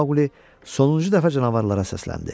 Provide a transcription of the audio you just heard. Maqli sonuncu dəfə canavarlara səsləndi: